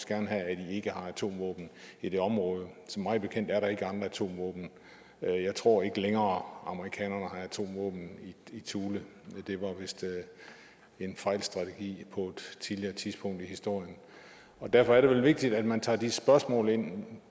gerne have at i ikke har atomvåben i det område mig bekendt er der ikke har atomvåben jeg tror ikke længere har atomvåben i thule det var vist en fejlstrategi på et tidligere tidspunkt i historien derfor er det vel vigtigt at man tager de spørgsmål ind